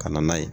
Ka na n'a ye